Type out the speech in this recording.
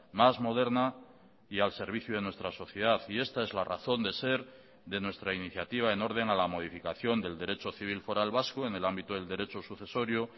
más moderna y al servicio de nuestra sociedad y esta es la razón de ser de nuestra iniciativa en orden a la modificación del derecho civil foral vasco en el ámbito del derecho sucesorio